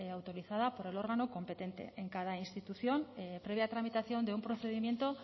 autorizada por el órgano competente en cada institución previa tramitación de un procedimiento